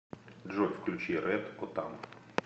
джой включи рэд отам